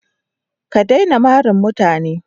Ka daina mari mutane.